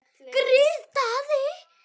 Grið Daði!